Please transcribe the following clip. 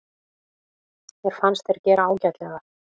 Mér fannst þeir gera ágætlega.